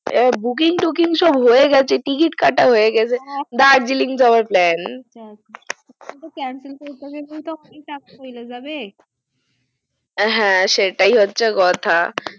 আহ booking tooking সব হয়েছে ticket কাটা হয় গাছে দার্জিলিং যাওয়ার plan